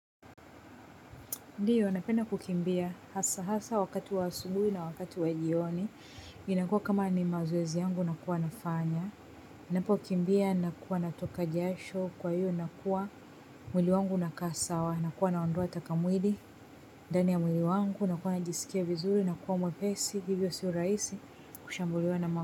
Ndiyo, napenda kukimbia hasa hasa wakati wa asubuhi na wakati wa jioni. Inakua kama ni mazoezi yangu nakuwa nafanya. Napokimbia nakuwa natoka jasho kwa hiyo nakuwa. Mwili wangu unakaa sawa nakuwa naondoa takamwili. Ndani mwili wangu nakuwa najisikia vizuri nakuwa mwepesi. Hivyo sio rahisi kushambuliwa na ma.